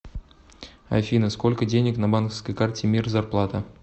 афина сколько денег на банковской карте мир зарплата